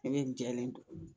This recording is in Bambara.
I bɛ jɛlen don